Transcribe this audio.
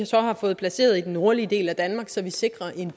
så har fået placeret i den nordlige del af danmark så vi sikrer et